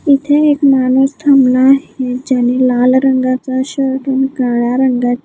इथे एक माणूस थांबला आहे ज्यानी लाल रंगाचा शर्ट आणि काळ्या रंगाची--